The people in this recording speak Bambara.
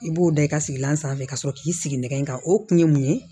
I b'o da i ka sigilan sanfɛ ka sɔrɔ k'i sigi nɛgɛ kan o kun ye mun ye